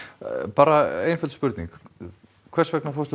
bara einföld spurning hvers vegna fórstu